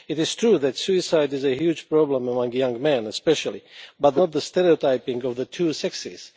It is true that suicide is a huge problem among young men especially, but the cause is not the stereotyping of the two sexes.